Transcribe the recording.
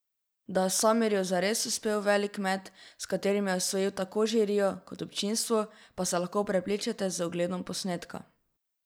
Da je Samirju zares uspel veliki met, s katerim je osvojil tako žirijo kot občinstvo, pa se lahko prepričate z ogledom posnetka!